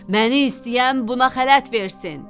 Məni istəyən buna xələt versin!